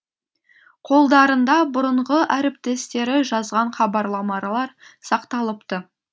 қолдарында бұрынғы әріптестері жазған хабарламалар сақталыпты